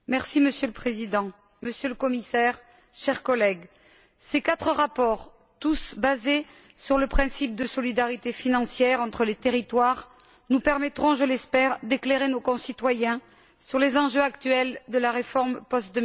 Monsieur le Président, Monsieur le Commissaire, chers collègues, ces quatre rapports, tous basés sur le principe de solidarité financière entre les territoires, nous permettront, je l'espère, d'éclairer nos concitoyens sur les enjeux actuels de la réforme post